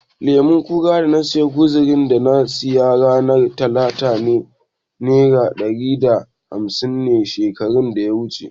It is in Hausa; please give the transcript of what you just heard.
Lemon ƙara kuzarin da na siya ranar talata nera ɗari da hafsin ne shekarar data wuce.